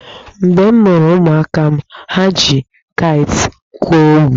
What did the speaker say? Mgbe m mụrụ ụmụaka m, ha ji kaịtị gwuo egwu.